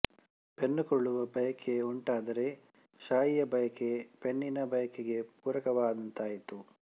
ಪೆನ್ನುಕೊಳ್ಳುವ ಬಯಕೆ ಉಂಟಾದರೆ ಶಾಯಿಯ ಬಯಕೆ ಪೆನ್ನಿನ ಬಯಕೆಗೆ ಪೂರಕವಾದಂತಾಯಿತು